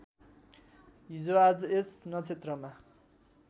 हिजोआज यस नक्षत्रमा